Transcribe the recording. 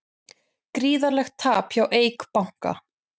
Gríðarlegt tap hjá Eik banka